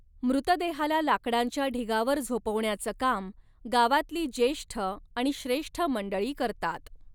मृतदेहाला लाकडांच्या ढीगावर झोपवण्याचं काम गावातली ज्येष्ठ आणि श्रेष्ठ मंडळी करतात.